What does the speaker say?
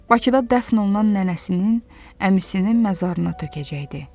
Bakıda dəfn olunan nənəsinin, əmisinin məzarına tökəcəkdi.